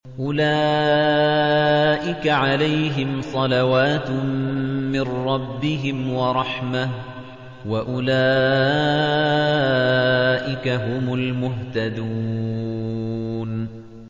أُولَٰئِكَ عَلَيْهِمْ صَلَوَاتٌ مِّن رَّبِّهِمْ وَرَحْمَةٌ ۖ وَأُولَٰئِكَ هُمُ الْمُهْتَدُونَ